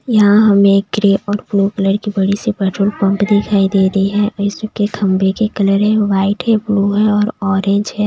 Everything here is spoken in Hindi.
यहां हमें ग्रे और ब्लू कलर की बड़ी सी पेट्रोल पंप दिखाई दे रही है इसके खंबे के कलर है वाइट है ब्लू है और ऑरेंज है।